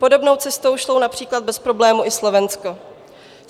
Podobnou cestou šlo například bez problémů i Slovensko.